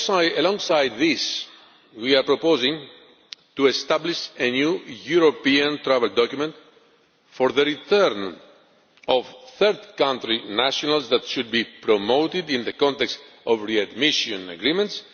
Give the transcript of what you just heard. Alongside this, we are proposing to establish a new European travel document for the return of third country nationals that should be promoted in the context of readmission agreements.